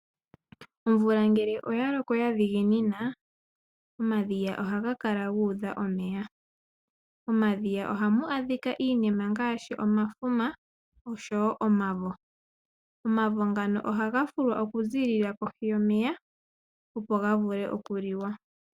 Omvula ngele oya loko, omadhiya oha ga kala gu udha omeya. Omadhiya oha mu adhika iinima ngaashi omafuma, osho woo omavo. Omavo ngano oha ga fulwa okuziilila kohi yomeya.